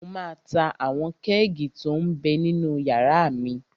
Mo máa ta àwọn kẹ́ẹ̀gì tó m bẹ ninú yàrá mi